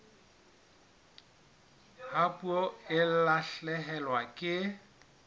ha puo e lahlehelwa ke